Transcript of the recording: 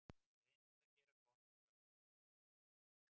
Reynt að gera gott úr öllu.